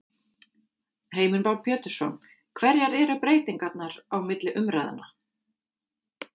Heimir Már Pétursson: Hverjar eru breytingarnar á milli umræðna?